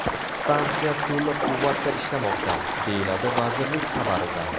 Stansiya to‘liq quvvatda ishlamoqda”, deyiladi vazirlik xabarida.